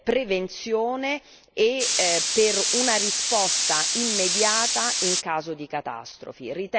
prevenzione e per una risposta immediata in caso di catastrofi.